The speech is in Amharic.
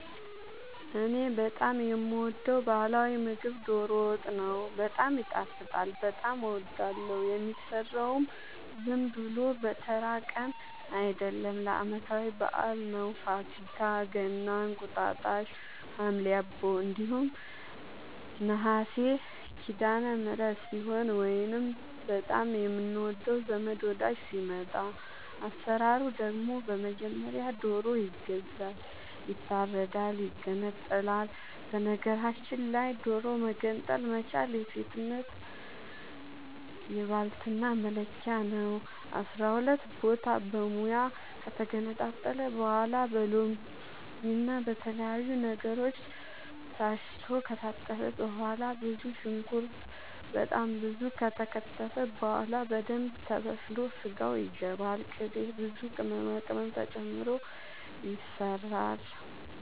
እኔ በጣም የምወደው በህላዊ ምግብ ዶሮ ወጥ ነው። በጣም ይጣፍጣል በጣም አወዳለሁ። የሚሰራውም ዝም ብሎ በተራ ቀን አይደለም ለአመታዊ በአል ነው። ፋሲካ ገና እንቁጣጣሽ ሀምሌ አቦ እንዲሁም ነሀሴ ሲዳለምህረት ሲሆን ወይንም በጣም የምንወደው ዘመድ ወዳጅ ሲመጣ። አሰራሩ ደግሞ በመጀመሪያ ዶሮ ይገዛል ይታረዳል ይገነጣጠላል በነገራችል ላይ ዶሮ መገንጠል መቻል የሴትነት የባልትና መለኪያ ነው። አስራሁለት ቦታ በሙያ ከተገነጣጠለ በኋላ በሎምና በተለያዩ ነገሮች ታስቶ ከታጠበ በኋላ ብዙ ሽንኩርት በጣም ብዙ ከተከተፈ በኋላ በደንብ ተበስሎ ስጋው ይገባል ቅቤ ብዙ ቅመማ ቅመም ተጨምሮ ይሰራል